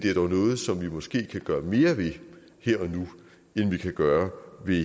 er dog noget som vi måske kan gøre mere ved her og nu end vi kan gøre ved